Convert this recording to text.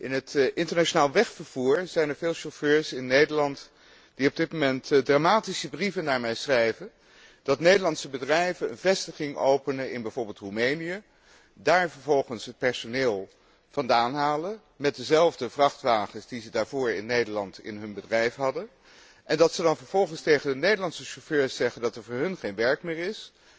In het internationaal wegvervoer zijn er veel chauffeurs in Nederland die op dit moment dramatische brieven naar mij schrijven dat Nederlandse bedrijven een vestiging openen in bijvoorbeeld Roemenië, daar vervolgens het personeel vandaan halen met dezelfde vrachtwagens die zij daarvoor in Nederland in hun bedrijf hadden en dat zij dan vervolgens tegen hun Nederlandse chauffeurs zeggen dat er voor hen geen werk meer is,